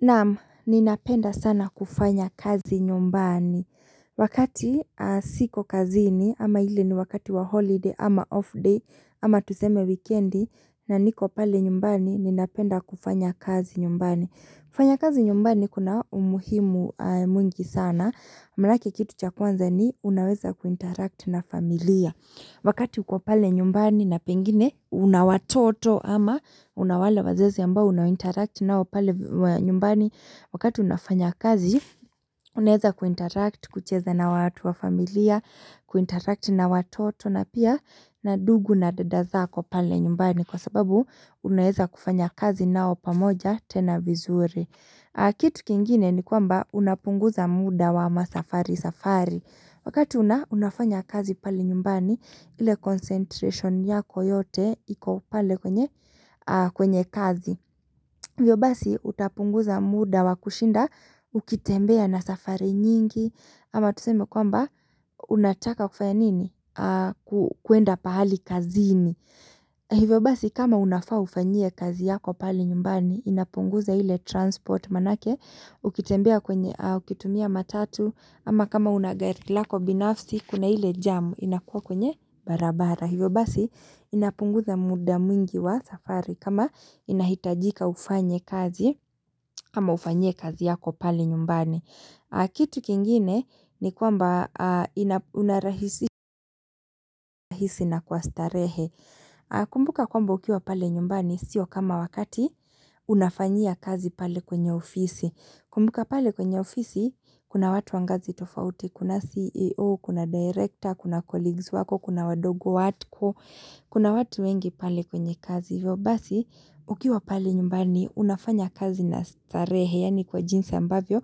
Naam, ninapenda sana kufanya kazi nyumbani. Wakati siko kazini ama ile ni wakati wa holiday ama off day ama tuzeme wikendi, na niko pale nyumbani, ninapenda kufanya kazi nyumbani. Kufanya kazi nyumbani kuna umuhimu mwingi sana. Mlaki kitu cha kwanza ni, unaweza kuinteract na familia. Wakati kwa pale nyumbani na pengine una watoto ama unawale wazazi ambao unawinteract nao pale nyumbani wakati unafanya kazi unaeza kuinteract kucheza na watu wa familia kuinteract na watoto na pia na ndugu na dada zako pale nyumbani kwa sababu unaeza kufanya kazi nao pamoja tena vizuri. Kitu kingine ni kwamba unapunguza muda wa masafari safari wakati unafanya kazi pale nyumbani ile concentration yako yote iko pale kwenye kazi Hivyo basi utapunguza muda wa kushinda ukitembea na safari nyingi ama tuseme kwamba unataka kufaya nini kwenda pahali kazini Hivyo basi kama unafaa ufanyie kazi yako pali nyumbani inapunguza hile transport manake ukitumia matatu ama kama una gari lako binafsi kuna ile jamu inakuwa kwenye barabara. Hivyo basi inapunguza muda mwingi wa safari kama inahitajika ufanye kazi kama ufanyie kazi yako pali nyumbani. Kitu kingine ni kwamba unarahisi na kwa starehe Kumbuka kwamba ukiwa pale nyumbani siyo kama wakati unafanyia kazi pale kwenye ofisi. Kumbuka pale kwenye ofisi kuna watu wangazi tofauti, kuna CEO, kuna director, kuna colleagues wako, kuna wadogo wako Kuna watu wengi pale kwenye kazi vyo basi ukiwa pale nyumbani unafanya kazi na starehe yaani kwa jinsi ambavyo